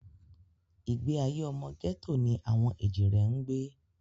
Ìgbé ayé ọmọ gẹ́tò ni àwọn èjìrẹ́ ń gbé